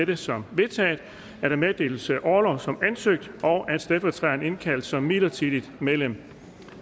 det som vedtaget at der meddeles orlov som ansøgt og at stedfortræderen indkaldes som midlertidigt medlem